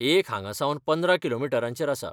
एक हांगासावन पंदरा किलोमिटरांचेर आसा.